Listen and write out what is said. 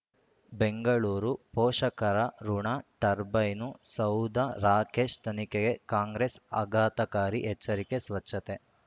ಬೆಂಗಳೂರು ಪೋಷಕರಋಣ ಟರ್ಬೈನು ಸೌಧ ರಾಕೇಶ್ ತನಿಖೆಗೆ ಕಾಂಗ್ರೆಸ್ ಆಘಾತಕಾರಿ ಎಚ್ಚರಿಕೆ ಸ್ವಚ್ಛತೆ